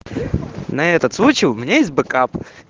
на этот случай у меня есть бэкап